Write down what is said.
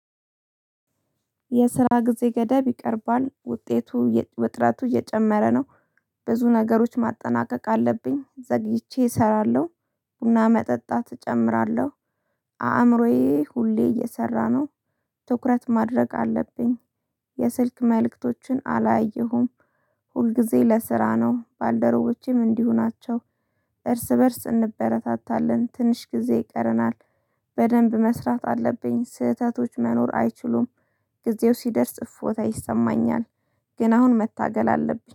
የስራ ጊዜ ገደብ ይቀርባል ውጤቱ ውጥረቱ እየጨመረ ነው። ብዙ ነገሮች ማጠናቀቅ አለብኝ ዘግይቼ እሰራለሁ። ቡና መጠጣት እጨምራለሁ። አእምሮዬ ሁሌ እየሰራ ነው። ትኩረት ማድረግ አለብኝ። የስልክ መልእክቶችን አላየሁም። ሁልጊዜ ለስራ ነው ባልደረቦቼም እንዲሁ ናቸው። እርስ በእርስ እንበረታታለን ትንሽ ጊዜ ይቀረናል። በደንብ መስራት አለብኝ ስህተቶች መኖር አይችሉም። ጊዜው ሲደርስ እፎታ ይሰማኛል። ግን አሁን መታገል አለብኝ